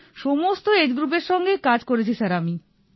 সমস্ত এজ গ্রুপের সঙ্গেই কাজ করেছি স্যার আমি